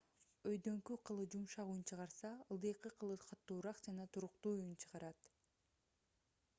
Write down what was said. өйдөңкү кылы жумшак үн чыгарса ылдыйкы кылы катуураак жана туруктуу үн чыгарат